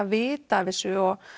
vita af þessu og